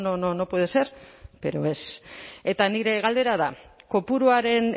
no no puede ser pero es eta nire galdera da kopuruaren